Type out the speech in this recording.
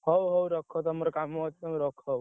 ହଉ ହଉ ରଖ ତମର କାମ ଅଛି ତମେ ରଖ।